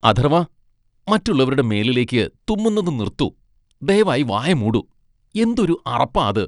അഥർവ്വ, മറ്റുള്ളവരുടെ മേലിലേക്ക് തുമ്മുന്നത് നിർത്തു. ദയവായി വായ മൂടു. എന്തൊരു അറപ്പാ അത് .